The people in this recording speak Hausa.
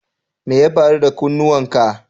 Me ya faru da kunnuwan ka?